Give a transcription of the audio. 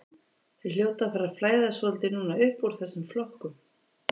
Þeir hljóta að fara að flæða svolítið núna uppúr þessum flokkum.